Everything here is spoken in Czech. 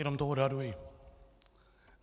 Jenom to odhaduji.